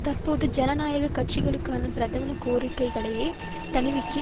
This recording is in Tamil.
தற்போது ஜனநாயக கட்சிக்காரர்களின் பிரதான கோரிக்கைகளே திணிவிகி